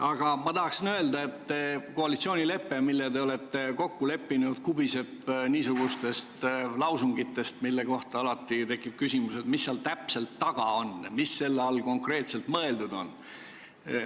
Aga ma tahan öelda, et koalitsioonilepe, mille te olete kokku leppinud, kubiseb niisugustest lausungitest, mille kohta tekib küsimus, mis seal taga täpselt on, mis selle all konkreetselt mõeldud on.